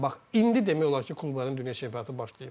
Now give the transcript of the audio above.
bax indi demək olar ki, klubların dünya çempionatı başlayıb.